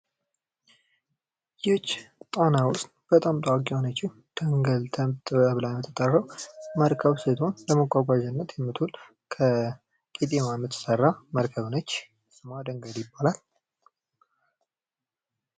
ይች ጣና ውስጥ በጣም ታዋቂ የሆነችው ደንገል ተብላ የምትጠራው መርከብ ስትሆን ለመጓጓዣነት የምትውል ከቄጠማ የምትሰራ መርከብ ነች። ስሟ ደንገል ይባላል።